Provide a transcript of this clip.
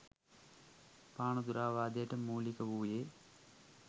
පානදුරාවාදයට මූලික වූයේ